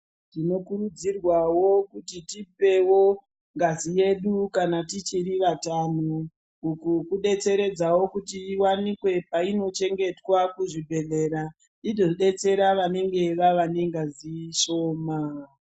Tinokurudzirwawo kuti tipewo ngazi yedu kana tichiri vatano uku kudetseredzawo kuti iwanikwe kwainochengetwa kuzvibhedhlera idodetsera vanenge vave nengazi shoma.